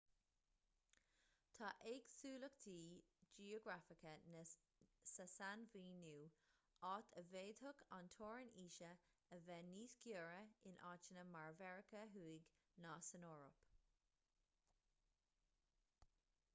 tá éagsúlachtaí geografacha sa sainmhíniú áit a bhféadfadh an teorainn aoise a bheith níos giorra in áiteanna mar mheiriceá thuaidh ná san eoraip